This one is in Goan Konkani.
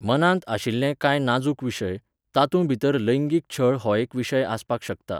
मनांत आशिल्ले कांय नाजूक विशय, तातूंभितर लैंगीक छळ हो एक विशय आसपाक शकता